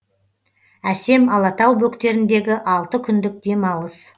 әсем алатау бөктеріндегі алты күндік демалыс